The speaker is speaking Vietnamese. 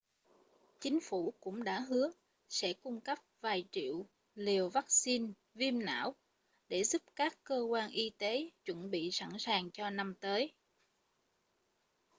chính phủ cũng đã hứa sẽ cung cấp vài triệu liều vắc-xin viêm não để giúp các cơ quan y tế chuẩn bị sẵn sàng cho năm tới